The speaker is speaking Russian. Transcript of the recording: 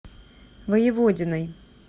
воеводиной